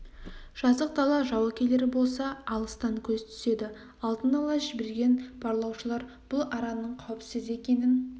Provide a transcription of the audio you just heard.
жазық дала жау келер болса алыстан көз түседі алдын ала жіберген барлаушылар бұл араның қауіпсіз екенін